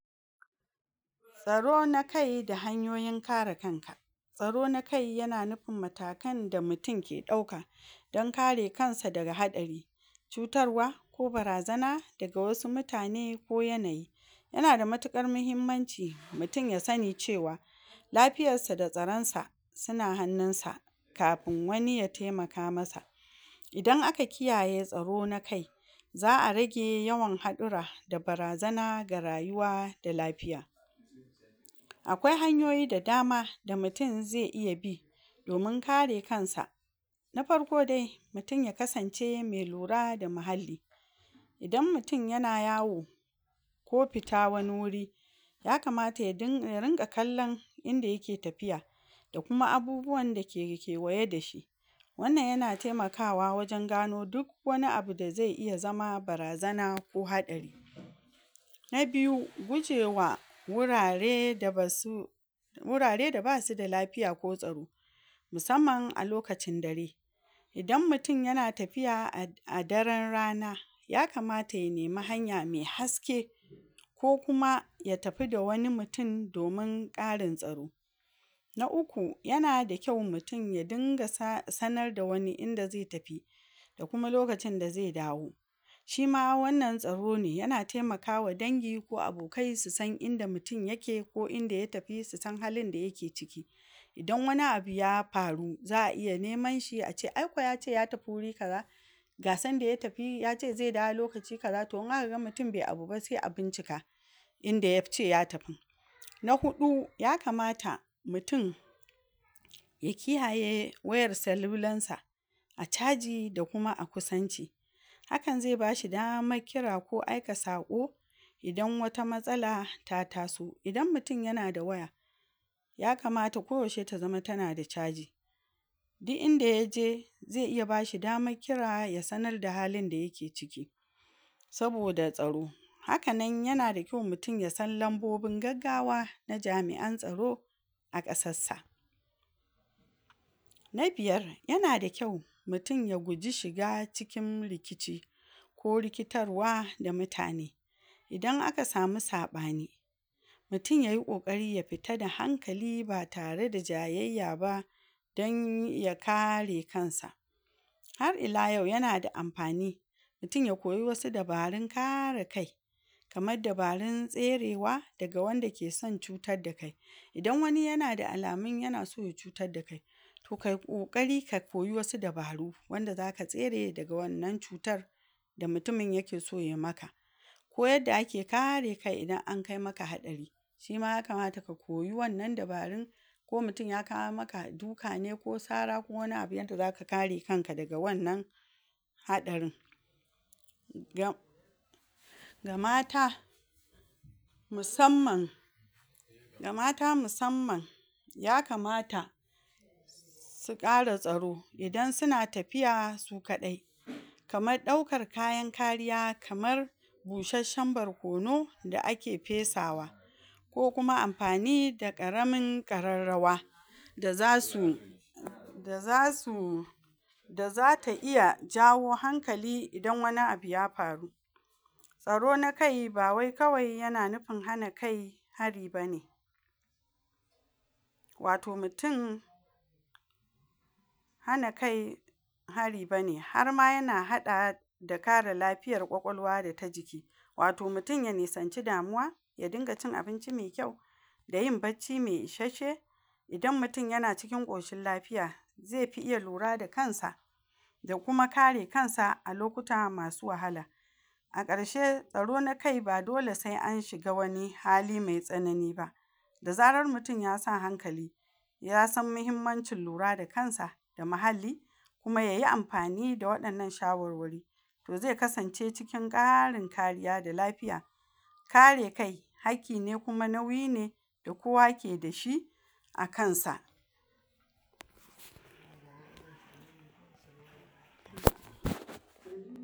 Tsaro na kai da hanyoyin kare kanka tsaro na kai yana nifin matakan da mutin ke ɗauaka dan kare kansa daga haɗari, cutarwa ko barazana daga wasu mutane ko yanayi, yana da matiƙar mahimmanci mutin ya sani cewa lafiyassa da tsaransa sina hannunsa kafin wani ya taimaka masa, idan aka kiyaye tsaro na kai za'a rage yawan haɗura da barazana ga rayuwa da lafiya, akwai hanyoyi da dama da mutin ze iya bi domin kare kansa na farko dai: Mitin ya kasance me lura da mahalli, idan mitin yana yawo ko fita wani wuri yakamata ya ding...ya rinƙa kallan inda yake tafiya da kuma abubuwanda ke kewaye da shi, wannan yana taimakawa wajen gano duk wani abu da zai iya zama barazana ko haɗari. Na biyu: Gujewa wurare da basu wurare da basu da lafiya ko tsaro, musamman a lokacin dare, idan mutin yana tafiya a... a daren rana yakamata ya nemi hanya me haske ko kuma ya tafi da wani mutin domin ƙarin tsaro. Na uku: Yana da kyau mutin ya dinga sa... sanar da wani inda ze tafi da kuma lokacin da ze dawo, shima wannan tsaro ne yana taimakawa dangi ko abokai su san inda mutin yake ko inda ya tafi su san halin da yake ciki, idan wani abu ya faru za'a iya neman shi a ce aiko yace ya tafi wuri kaza, ga sanda ya tafi yace ze dawo lokaci kaza to in aka ga mutin be abu ba se a bincika inda yace ya tafin. Na huɗu: Yakamata mutin ya kiyaye wayar salulansa a caji da kuma a kusanci, hakan ze bashi damak kira ko aika saƙo idan wata matsala ta taso, idan mutin yana da waya yakamata ko yaushe ta zama tana da caji, di'inda yaje ze iya bashi damak kira ya sanar da halin da yake ciki saboda tsaro, hakan nan yana da kyau mutin ya san lambobin gaggawa na jim'an tsaro a ƙasassa. Na biyar: Yana da kyau mutin ya guji shiga cikin rikici ko rikitarwa da muatane, idan aka sami saɓani mutin yayi ƙoƙari ya fita a hankali ba tare da jayayya ba dan ya kare kansa, har ila yau yana da amfani mutin ya koyi wasu dabarun kare kai kamad dabarun tserewa ga wanda ke san cutadda kai, idan wani yana da alamun yana so ya cutadda kai, to kai ƙoƙari ka koyi wasu dabaru wanda zaka tsere daga wannan cutar da mutumin yake so yai maka, ko aydda ake kare kai idan an kai maka haɗari, shima ya kamata ka koyi wannan dabarun ko mutin ya kawo maka duka ne ko sara ko wani abu yadda zaka kare kanka daga wannan haɗarin, ga mata musamman ga mata musamman yakamata su ƙara tsaro idan suna tafiya su kaɗai, kamaɗɗaukar kayan kariya kamar busheshshen barkono da ake fesawa, ko kuma amfani da ƙaramin ƙararrawa da zasu da zasu da zata iya jawo hankali idan wani abu ya faru, tsaro na kai ba wai kawai yana nufin hana kai hari bane, wato mutin hana kai hari bane harma yana haɗa da kare lafiyar ƙwaƙwalwa da ta jiki, wato mutin ya nisanci damuwa ya dinga cin abinci me kyau, da yin bacci m ishashshe, idan mutin yana cikin ƙoshin lafiya ze fi iya lura da kansa da kuma kare kansa a lokuta masu wahala. A ƙarshe tsaro na kai ba dole se an shiga wani hali me tsanani ba, da zarar mutin yasa hankali ya san mahimmancin lura da kansa da mahalli kuma yayi amfani da waɗannan shawarwari, to ze kasance cikin ƙarin kariya da lafiya. Kare kai hakki ne kuma nauyi ne da kowa keda shi a kansa.